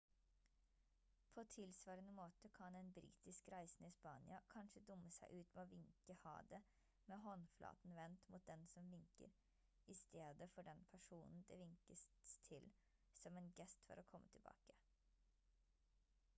på tilsvarende måte kan en britisk reisende i spania kanskje dumme seg ut med å vinke ha det med håndflaten vendt mot den som vinker i stedet for den personen det vinkets til som en gest for å komme tilbake